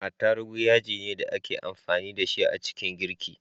Attarugu yajine da ake amfani da shi a ciki girki